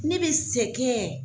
Ne bɛ sɛgɛn.